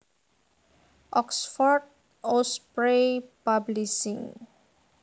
Oxford Osprey Publishing